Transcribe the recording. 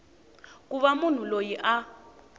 ku va munhu loyi a